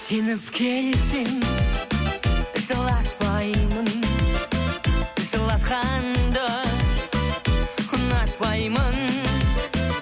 сеніп келсең жылатпаймын жылатқанды ұнатпаймын